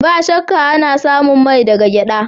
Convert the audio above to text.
Ba shakka, ana samun mai daga gyada.